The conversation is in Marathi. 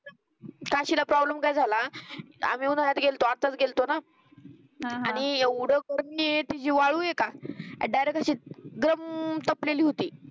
काशीला प्रॉब्लेम काय झाला. आम्ही उन्हाळ्यात गेलतो आताच गेलतो ना. आणि एवढं करून बी ते जी वाळू हे का डिरेक्टली अशी गम तपलेली होती